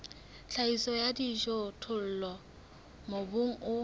tlhahiso ya dijothollo mobung o